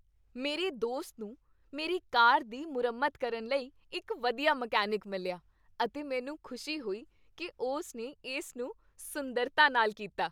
ਮੇਰੇ ਦੋਸਤ ਨੂੰ ਮੇਰੀ ਕਾਰ ਦੀ ਮੁਰੰਮਤ ਕਰਨ ਲਈ ਇੱਕ ਵਧੀਆ ਮਕੈਨਿਕ ਮਿਲਿਆ ਅਤੇ ਮੈਨੂੰ ਖੁਸ਼ੀ ਹੋਈ ਕੀ ਉਸ ਨੇ ਇਸ ਨੂੰ ਸੁੰਦਰਤਾ ਨਾਲ ਕੀਤਾ।